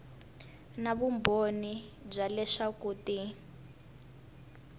na vumbhoni bya leswaku ti